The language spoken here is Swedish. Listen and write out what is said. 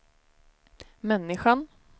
människan